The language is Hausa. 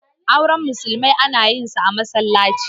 auren musulmi ana yinsa a masallatai